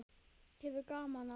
Hefur gaman af.